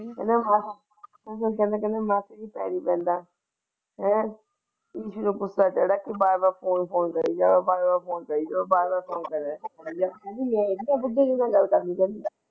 ਮਾਸੀ ਜੀ ਪੈਰੀ ਪੈਣਾ ਦੇਖਿਆ ਕਹਿੰਦਾ ਮਾਸੀ ਜੀ ਪੈਰੀ ਪੈਂਦਾ ਇਹਨਾਂ ਗੁੱਸਾ ਚੜਿਆ ਕੀ ਤੂੰ ਬਾਰ ਬਾਰ ਫ਼ੋਨ ਕਰੀ ਜਾਏ ਬਾਰ ਬਾਰ ਫ਼ੋਨ ਕਾਰੇ ਬੁੱਢੇ ਨਾਲ ਕੋਈ ਗੱਲ।